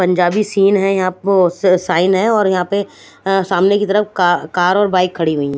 Punjabi scene है यहाँ पो स साइन है और यहाँ पे सामने की तरफ का कार और बाइक खड़ी हुई है।